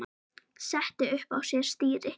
setti upp á sér stýri